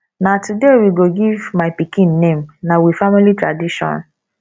na today we go give my pikin name na we family tradition